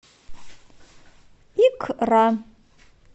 икра